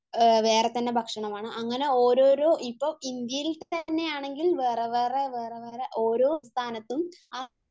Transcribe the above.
വേറെത്തന്നെ ഭക്ഷണമാണ് .അങ്ങനെ ഓരോരോ ഇപ്പം ഇന്ത്യയിൽ തന്നെ ആണെങ്കിൽ വേറെ വേറെ വേറെ വേറെ ഓരോ സ്ഥാനത്തും വേറെ തന്നെ ഭക്ഷണമാണ്